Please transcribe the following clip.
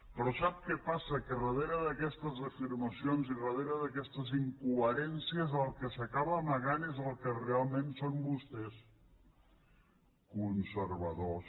però sap què passa que darrere d’aquestes afirmacions i darrere d’aquestes incoherències el que s’acaba amagant és el que realment són vostès conservadors